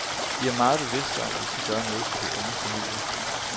Vi er meget bevidste om, at vi skal gøre noget for de unge familier.